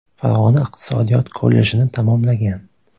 Farg‘ona iqtisodiyot kollejini tamomlagan.